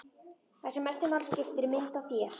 Það sem mestu máli skiptir er mynd af þér.